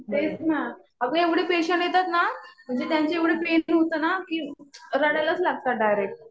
तेच ना. अगं एवढे पेशंट येतात ना. म्हणजे त्यांचं एवढं पेन होतं ना. रडायलाच लागतात डायरेक्ट.